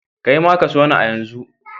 Kai ma ka so ni a yanzu!